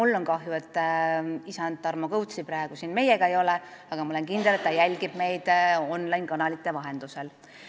Ka mul on kahju, et isand Tarmo Kõuts praegu siin meiega ei ole, aga ma olen kindel, et ta jälgib meid online-kanalite vahendusel.